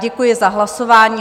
Děkuji za hlasování.